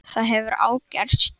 Það hefur ágerst.